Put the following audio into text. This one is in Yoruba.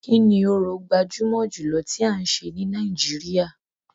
Kini orò gbajúmọ̀ jùlọ tí a ń ṣe ní Nàìjíríà.